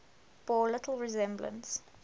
bore little resemblance